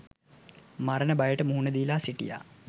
මරණ බයට මුහුණ දීලා සිටියා.